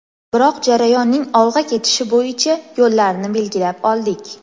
Biroq jarayonning olg‘a ketishi bo‘yicha yo‘llarni belgilab oldik.